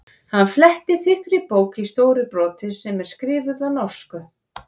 Hann flettir þykkri bók í stóru broti sem er skrifuð á norsku.